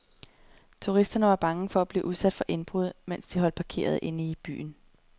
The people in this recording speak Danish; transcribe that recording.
Turisterne var bange for at blive udsat for indbrud, mens de holdt parkeret inde i byen.